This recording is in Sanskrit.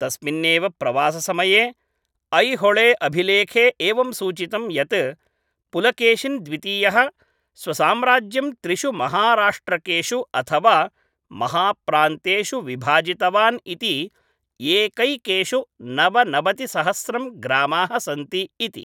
तस्मिन् एव प्रवाससमये ऐहोळेअभिलेखे एवं सूचितम् यत्, पुलकेशिन् द्वितीयः स्वसाम्राज्यं त्रिषु महाराष्ट्रकेषु अथवा महाप्रान्तेषु विभाजितवान् इति एकैकेषु नवनवतिसहस्रं ग्रामाः सन्ति इति।